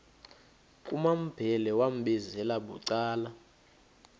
kumambhele wambizela bucala